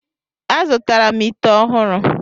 Azụtara m ite ọhụrụ.